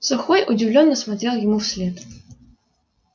сухой удивлённо смотрел ему вслед